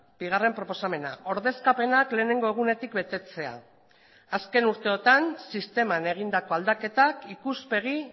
bigarren proposamena ordezkapenak lehenengo egunetik betetzea azken urteotan sisteman egindako aldaketak ikuspegi